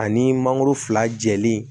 Ani mangoro fila jɛlen